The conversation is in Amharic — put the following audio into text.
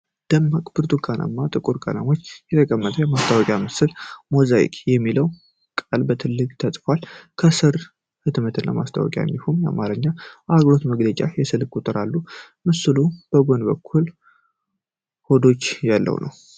ደማቅ ብርቱካናማ እና ጥቁር ቀለሞችን የተጠቀመው የማስታወቂያ ምስል ነው። "ሞዛይክ" የሚለው ቃል በትልቁ ተጽፏል፤ ከሱ ስር "ህትመትና ማስታወቂያ" እንዲሁም የአማርኛ አገልግሎት መግለጫና የስልክ ቁጥሮች አሉ። ምስሉ በጎን በኩል ኮዶች ያለው ነው።